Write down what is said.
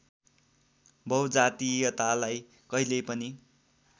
बहुजातीयतालाई कहिल्यै पनि